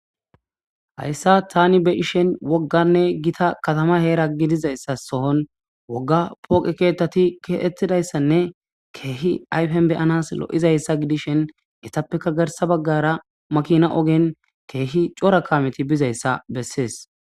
Hayssa tani be ishen wogganne gita katama heera gidizayssa sohon wogga pooqe keettati keettidayssanne keehi ayfen beyanas lo7izayssa gidishen etappeka garsa baggara makina ogen keehi cora kameti bizayssa bessees.